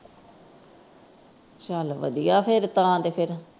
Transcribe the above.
ਚੱਲ ਵਧੀਆ ਆ ਤਾਂ ਫਿਰ ।